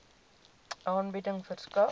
aanbieding verskaf